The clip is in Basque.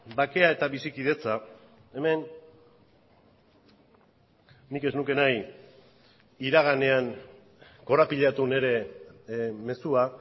bakea eta bizikidetza hemen nik ez nuke nahi iraganean korapilatu nire mezua